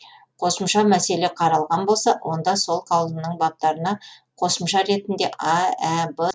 қосымша мәселе қаралған болса онда сол қаулының баптарына қосымша ретінде а ә б деп тармақ енгізіледі